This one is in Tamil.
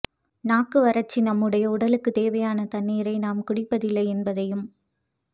நாக்கு வறட்சி நம்முடைய உடலுக்குத் தேவையான தண்ணீரை நாம் குடிப்பதில்லை என்பதையும்